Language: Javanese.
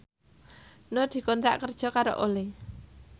Nur dikontrak kerja karo Olay